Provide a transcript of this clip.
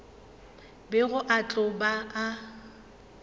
bego a tlo ba a